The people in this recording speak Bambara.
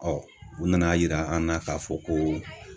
u nana yira an na k'a fɔ ko